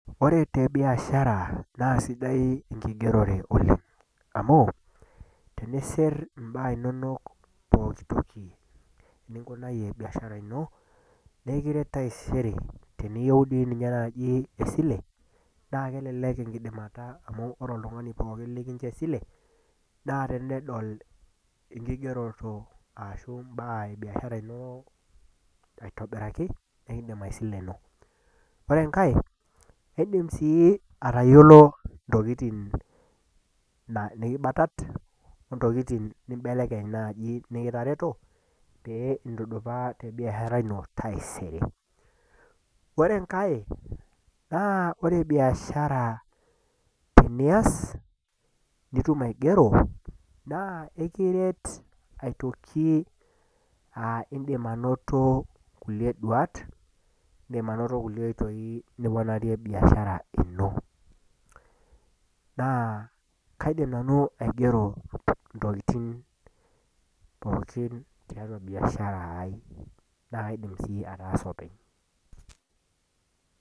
ore te biashara naa sidai enkigerore oleng. amu tenisir imbaa inonok, pooki toki ninkunayie biashara ino, nikiret taisere, tenitieu dii ninye naaji esile, naa kelelk enkidimata amu ore oltungani pokin likinchoo esile, naa tenedol enkigeroto aashu imbaa ebiashara ino aitobiraki, nikidim aisileno. ore enkae, kidim sii atayiolo ntokitin, nikibatat o ntokitijn nikibelekeny naaji mikitareto, pee intudupaa te biashar ino taisere. ore enkae naa ore biashra tenias nitum aigero naa ekiret, toki aa idim anoto, kulie duat, idim anoto kulie oitoi nipoarie biashara ino. naa kaidim nanu aing'ero ntokitin pookin tiatua biashara ai, naa kaidim sii ataasa openy.